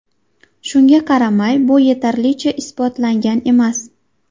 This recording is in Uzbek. Shunga qaramay, bu yetarlicha isbotlangan emas.